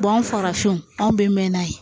anw farafinw anw bɛ mɛn n'a ye